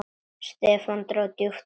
Stefán dró djúpt andann.